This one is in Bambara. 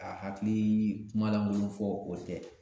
A hakilii kuma lankolon fɔ o tɛ